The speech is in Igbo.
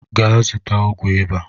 Gaa zụta ọgwụ ịba!